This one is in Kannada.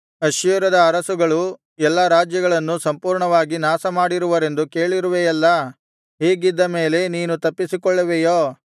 ಅಶ್ಶೂರದ ಅರಸುಗಳು ಎಲ್ಲಾ ರಾಜ್ಯಗಳನ್ನು ಸಂಪೂರ್ಣವಾಗಿ ನಾಶಮಾಡಿರುವರೆಂದು ಕೇಳಿರುವೆಯಲ್ಲಾ ಹೀಗಿದ್ದ ಮೇಲೆ ನೀನು ತಪ್ಪಿಸಿಕೊಳ್ಳುವೆಯೋ